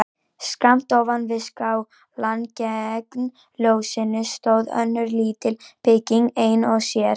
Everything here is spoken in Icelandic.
Skammt ofan við skálann gegnt fjósinu stóð önnur lítil bygging ein og sér.